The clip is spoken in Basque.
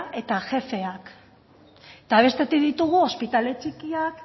eta jefeak eta bestetik ditugu ospitale txikiak